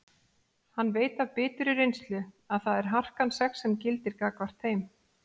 Hann veit af biturri reynslu að það er harkan sex sem gildir gagnvart þeim.